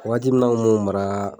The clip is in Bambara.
Waati mun na an tun b'u maraa